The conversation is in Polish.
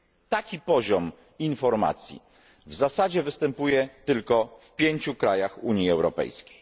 Taki poziom informacji w zasadzie występuje tylko w pięciu krajach Unii Europejskiej.